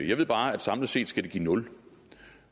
jeg ved bare at samlet set skal det give nul